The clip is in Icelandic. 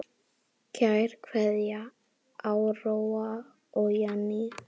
Kær kveðja, Áróra og Jenný.